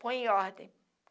Põe em ordem.